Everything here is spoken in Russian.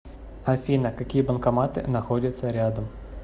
афина какие банкоматы находятся рядом